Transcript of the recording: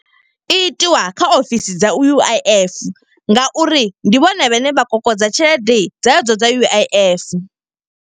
I itiwa kha ofisi dza U_I_F nga uri ndi vhone vhane vha kokodza tshelede dze dzo dza U_I_F.